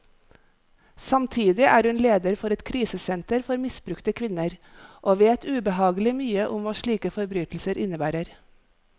Samtidig er hun leder for et krisesenter for misbrukte kvinner, og vet ubehagelig mye om hva slike forbrytelser innebærer.